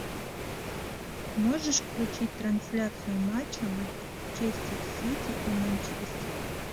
можешь включить трансляцию матча манчестер сити и манчестера